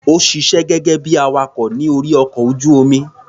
Ó ṣiṣé gẹ́gẹ́ bí i awakọ̀ ní orí ọkọ̀ ojú-omi.